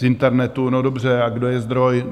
Z internetu - no dobře, a kdo je zdroj?